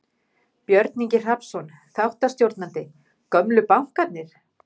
Björn Ingi Hrafnsson, þáttastjórnandi: Gömlu bankarnir?